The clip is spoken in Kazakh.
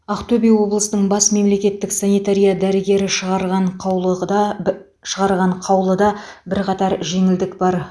ақтөбе облысының бас мемлекеттік санитария дәрігері шығарған қаулығда шығарған қаулыда бірқатар жеңілдік бар